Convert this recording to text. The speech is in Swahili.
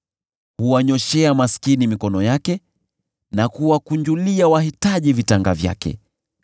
Huwanyooshea maskini mikono yake na kuwakunjulia wahitaji vitanga vyake.